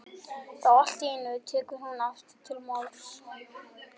Þá allt í einu tekur hún aftur til máls